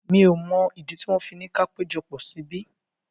Mi ò mọ̀ ìdí tí wọ́n fi ni ka péjọpọ̀ síbí.